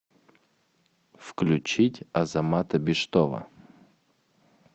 включить азамата биштова